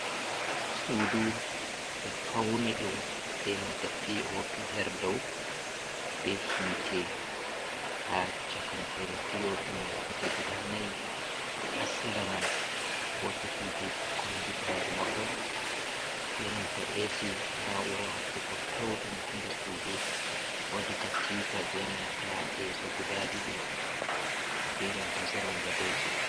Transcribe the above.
Suudu ɓe fauni ɗum benanta p.o.p her dou, be hite ha chakantere p.o.p mai. Hite guda nayi ha Sera man wodi hiteji kombi ɓandu mahol benanta esi na'ura hokkugo pewɗum ha nder suudu. Wodi katifa benanta lesso guda ɗiɗi benanta zanin gadoji.